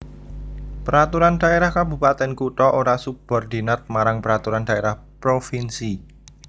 Peraturan Dhaérah Kabupatèn Kutha ora subordinat marang Peraturan Dhaérah Provinsi